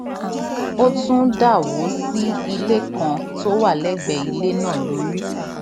ó tún dà wó sí ilé kan tó wà lẹgbẹẹ ilé náà lórí